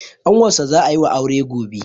ƙanwarsa za a yi wa aure gobe